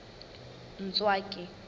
ntswaki